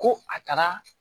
Ko a taara